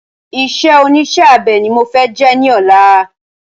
Isé onísé abe ni mo fẹ jẹ ní ọ̀la